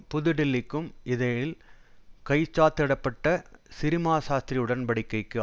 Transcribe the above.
புது டில்லிக்கும் இடையில் கைச்சாத்திட பட்ட சிறிமாசாஸ்த்திரி உடன்படிக்கைக்கு